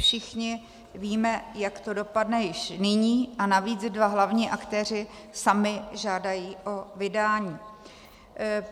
Všichni víme, jak to dopadne, již nyní a navíc dva hlavní aktéři sami žádají o vydání.